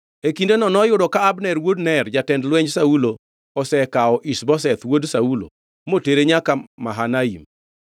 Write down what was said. E kindeno noyudo ka Abner wuod Ner, jatend lwenj Saulo, osekawo Ish-Boseth wuod Saulo motere nyaka Mahanaim.